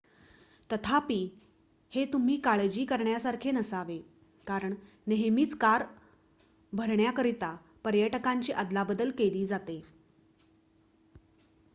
तथापि हे तुम्ही काळजी करण्यासारखे नसावे कारण नेहमीच कार भरण्याकरिता पर्यटकांची अदलाबदल केली जाते